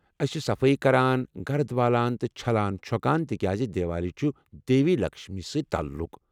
أسۍ چھِ صفٲیی کران، گرد والان تہٕ چھلان چھو٘كان تِکیازِ دیوالی چھُ دیوی لکشمی سۭتۍ تعلُق۔